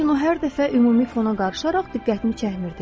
Lakin o hər dəfə ümumi fona qarışaraq diqqətimi çəkmirdi.